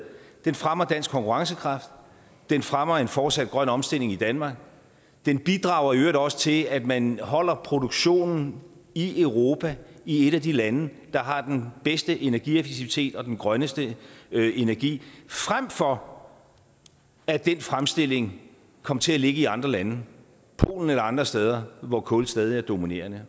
fremmer dansk konkurrencekraft den fremmer en fortsat grøn omstilling i danmark den bidrager i øvrigt også til at man holder produktionen i europa i et af de lande der har den bedste energieffektivitet og den grønneste energi frem for at den fremstilling kom til at ligge i andre lande polen eller andre steder hvor kul stadig er dominerende